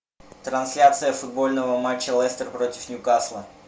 трансляция футбольного матча лестер против ньюкасла